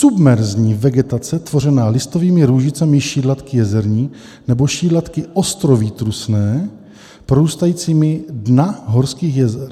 Submerzní vegetace tvořená listovými růžicemi šídlatky jezerní nebo šídlatky ostnovýtrusné porůstajícími dna horských jezer.